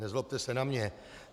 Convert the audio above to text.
Nezlobte se na mě.